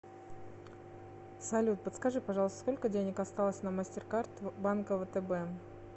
салют подскажи пожалуйста сколько денег осталось на мастеркард банка втб